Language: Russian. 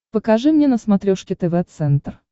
покажи мне на смотрешке тв центр